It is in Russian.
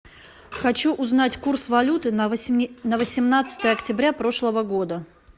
хочу узнать курс валюты на восемнадцатое октября прошлого года